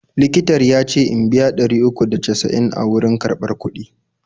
Likitar ya ce in biya ɗari uku da casa'in a wurin karɓar kuɗi.